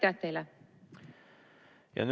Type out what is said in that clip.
Aitäh teile!